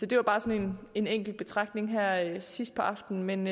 det var bare sådan en enkelt betragtning her sidst på aftenen men